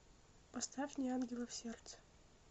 поставь неангелов сердце